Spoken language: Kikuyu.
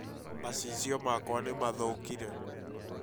macicio makwa nĩmathokĩre